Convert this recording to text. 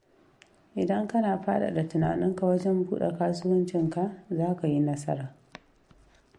Idan kana faɗaɗa tunaninka wajen buɗa kasuwancinka, zaka yi nasara.